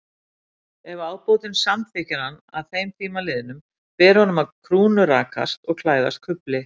Ef ábótinn samþykkir hann að þeim tíma liðnum, ber honum að krúnurakast og klæðast kufli.